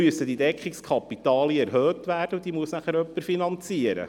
Dann müssen diese Deckungskapitalien erhöht werden, und das muss dann jemand finanzieren.